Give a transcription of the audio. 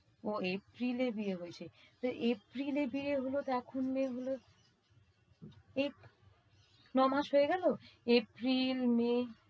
ওহ April এ বিয়ে হইছে। তো April এ বিয়ে হলো তো এখন মেয়ে হলো, এ~ নয় মাস হয়ে গেলো? April, May